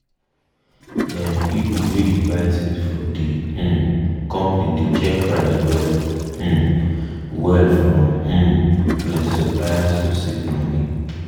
dem people wey dey buy thing for de um company dey check price well um well from um plenti supplier to save money.